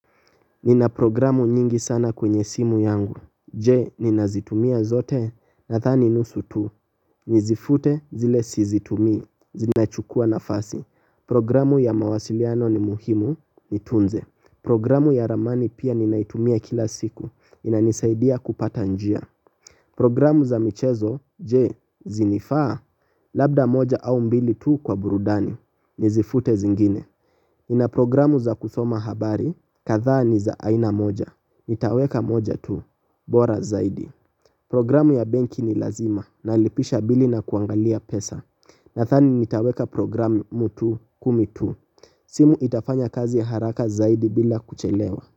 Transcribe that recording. Nina programu nyingi sana kwenye simu yangu. Je, ninazitumia zote nadhani nusu tu. Nizifute zile si zitumii. Zinachukua nafasi. Programu ya mawasiliano ni muhimu. Nitunze. Programu ya ramani pia ninaitumia kila siku. Inanisaidia kupata njia. Programu za michezo. Je, zinifaa. Labda moja au mbili tu kwa burudani. Nizifute zingine. Nina programu za kusoma habari katha ni za aina moja. Nitaweka moja tu. Bora zaidi. Programu ya benki ni lazima. Nalipisha bili na kuangalia pesa. Nathani nitaweka programu tu kumi tu. Simu itafanya kazi haraka zaidi bila kuchelewa.